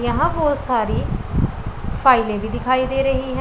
यहां बहुत सारी फाइलें भी दिखाई दे रही है।